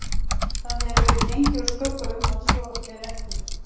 Það hefur verið gengið úr skugga um, að svo er ekki